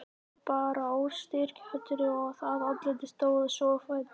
Hún bar óstyrka hönd að andlitinu, stóð svo á fætur.